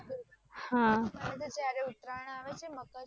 કપડા પહેરવાના મને તો જ્યારે ઉતરાયણ આવે છે મકર